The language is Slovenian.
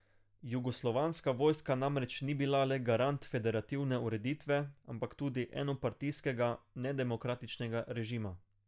Jugoslovanska vojska namreč ni bila le garant federativne ureditve, ampak tudi enopartijskega, nedemokratičnega režima.